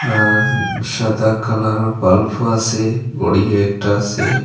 আর সাদা কালার বাল্ফও আসে ঘড়ি একটা আসে।